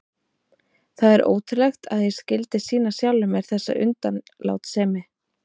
Það er ótrúlegt að ég skyldi sýna sjálfum mér þessa undanlátssemi.